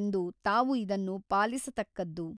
ಎಂದು ತಾವು ಇದನ್ನು ಪಾಲಿಸತಕ್ಕದ್ದು.